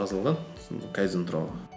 жазылған кайдзен туралы